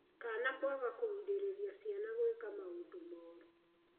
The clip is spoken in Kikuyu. kana kwaga kũgirĩrĩria ciana gwĩka maũndũ moru